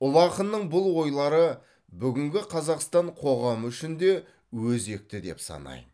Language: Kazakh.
ұлы ақынның бұл ойлары бүгінгі қазақстан қоғамы үшін де өзекті деп санайм